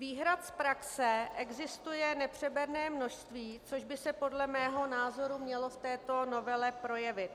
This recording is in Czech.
Výhrad z praxe existuje nepřeberné množství, což by se podle mého názoru mělo v této novele projevit.